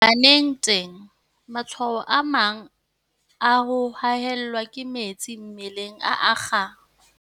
Baneng teng, matshwao a mang a ho haellwa ke metsi mmeleng a akga.